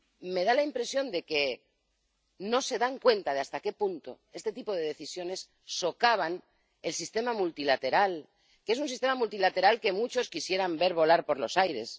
Me da la impresión de que no se dan cuenta de hasta qué punto este tipo de decisiones socavan el sistema multilateral, que es un sistema multilateral que muchos quisieran ver volar por los aires.